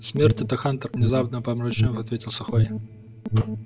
смерть это хантер внезапно помрачнев ответил сухой